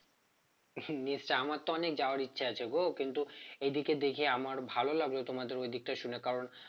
নিশ্চয়ই আমার তো অনেক যাওয়ার ইচ্ছা আছে গো কিন্তু এদিকে দেখি আমার ভালো লাগলো তোমাদের ওদিকটা শুনে কারণ